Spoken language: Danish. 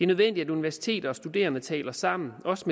nødvendigt at universiteter og studerende taler sammen og også